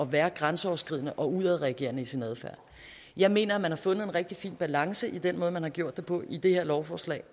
været grænseoverskridende og udadreagerende i sin adfærd jeg mener at man har fundet en rigtig fin balance i den måde man har gjort det på i det her lovforslag